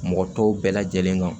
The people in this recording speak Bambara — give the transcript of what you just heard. Mɔgɔ tɔw bɛɛ lajɛlen kan